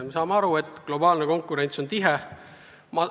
Me saame aru, et globaalne konkurents on tihe.